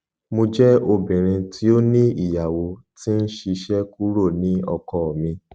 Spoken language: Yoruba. mo jẹ obinrin ti o ni iyawo ti n ṣiṣẹ kuro ni ọkọ mi